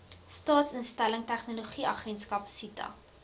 staatsinligtingstegnologie agentskap sita